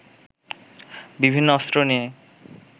বিভিন্ন অস্ত্র নিয়ে